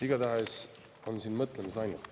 Igatahes on siin mõtlemisainet.